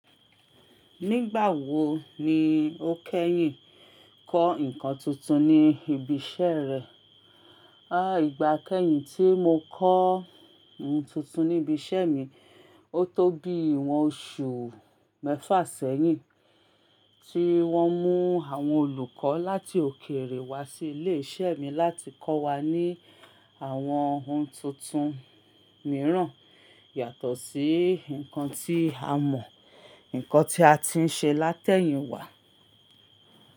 Nígbà wo ni o kẹ́yìn kọ́ nǹkan tuntun ní ibi iṣẹ́ rẹ? A ìgbà kẹ́yìn tí mo kọ́ ohun tuntun ní ibi iṣẹ́ mi, ó tó bí ìwọ̀n oṣù mẹ́fà sẹ́yìn tí wọ́n mú àwọn olùkọ́ láti òkèèrè wá sí ilé iṣẹ́ mi láti kọ́ wa ní àwọn ohun tuntun mìíràn yàtọ̀ sí nǹkan tí a mọ̀, nǹkan tí a ti ń ṣe látẹ̀yìnwá.